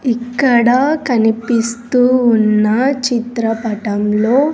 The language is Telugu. ఇక్కడ కనిపిస్తూ ఉన్న చిత్రపటంలో.